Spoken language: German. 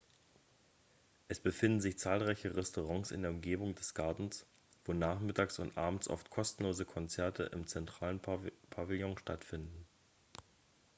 es befinden sich zahlreiche restaurants in der umgebung des gartens wo nachmittags und abends oft kostenlose konzerte im zentralen pavillon stattfinden